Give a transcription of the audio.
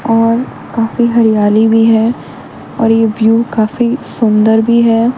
और काफी हरियाली भी है और ये व्यू काफी भी सुंदर है।